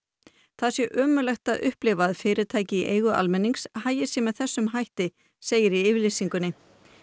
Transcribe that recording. það sé ömurlegt að upplifa að fyrirtæki í eigu almennings hagi sér með þessum hætti segir í yfirlýsingunni